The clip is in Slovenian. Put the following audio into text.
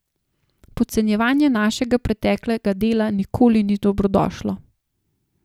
Podcenjevanje našega preteklega dela nikoli ni dobrodošlo.